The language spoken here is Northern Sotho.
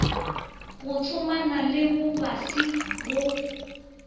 go tsomana le bobasi go